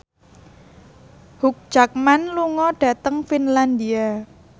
Hugh Jackman lunga dhateng Finlandia